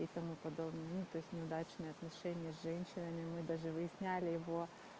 и тому подобное ну то есть неудачные отношения с женщинами мы даже выясняли его